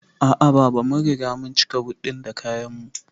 A'a baba, mun riga mun cika but ɗin da kayan mu